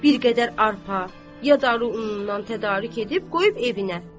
Bir qədər arpa, yadırunundan tədarük edib, qoyub evinə.